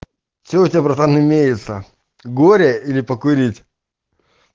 что у тебя братан имеется горе или покурить